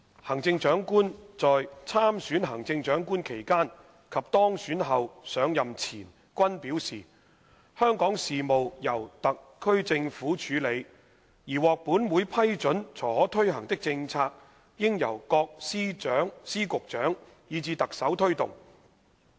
行政長官在參選行政長官期間及當選後上任前均表示，香港事務由特區政府處理，而獲本會批准才可推行的政策應由各司局長以至特首推動。